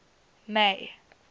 may